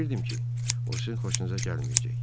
Bilirdim ki, o sizin xoşunuza gəlməyəcək.